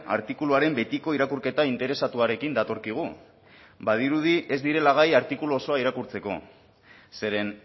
artikuluaren betiko irakurketa interesatuarekin datorkigu badirudi ez direla bai artikulu osoa irakurtzeko zeren